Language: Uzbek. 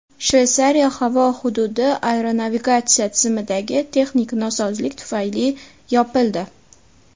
Shveysariya havo hududi aeronavigatsiya tizimidagi texnik nosozlik tufayli yopildi.